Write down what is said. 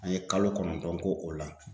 An ye kalo kɔnɔntɔn k'o o la